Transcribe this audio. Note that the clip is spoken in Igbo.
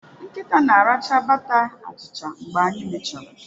Nkịta na-aracha bata achicha mgbe anyị mechara.